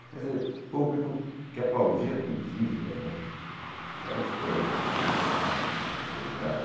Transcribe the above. Quer dizer, público que aplaudia a poesia, né, porque eram os poemas inflamados, incendiados.